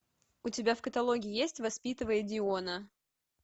у тебя в каталоге есть воспитывая диона